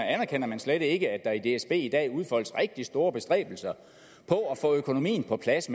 anerkender man slet ikke at der i dsb i dag udfoldes rigtig store bestræbelser på at få økonomien på plads